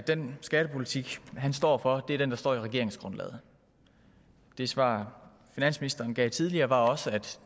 at den skattepolitik han står for er den der står i regeringsgrundlaget det svar finansministeren gav tidligere var også at